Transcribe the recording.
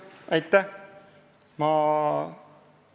Aitäh!